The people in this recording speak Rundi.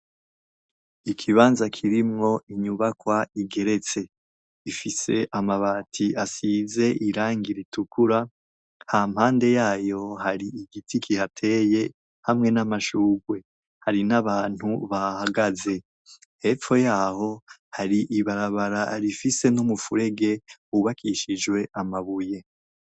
Ikibanza kirimwo inyubakwa igeretse ifise amabati asize irangi ritukura hampande yayo hari igiti kihateye hamwe n'amashurwe hari n'abantu bahahagaze hepfo yaho hari ibarabara rifise n'umufurege wubakishijwe amabuye.